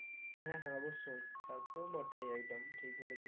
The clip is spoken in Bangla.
হ্যাঁ হ্যাঁ অবশ্যই তা তো বটেই একদম ঠিক বলেছিস